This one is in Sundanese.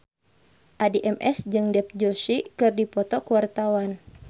Addie MS jeung Dev Joshi keur dipoto ku wartawan